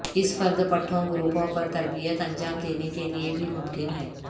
اس فرد پٹھوں گروپوں پر تربیت انجام دینے کے لئے بھی ممکن ہے